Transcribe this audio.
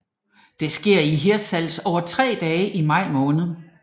Det sker i Hirtshals over tre dage i maj måned